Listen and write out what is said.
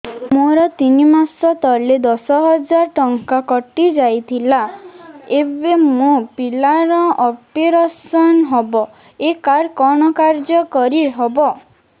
ମୋର ତିନି ମାସ ତଳେ ଦଶ ହଜାର ଟଙ୍କା କଟି ଯାଇଥିଲା ଏବେ ମୋ ପିଲା ର ଅପେରସନ ହବ ଏ କାର୍ଡ କଣ କାର୍ଯ୍ୟ କାରି ହବ